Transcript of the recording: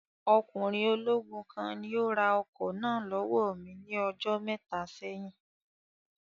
Ọkùnrin ológun kan ni ó ra ọkọ̀ náà lọ́wọ́ mi ní ọjọ́ mẹ́ta sẹ́yìn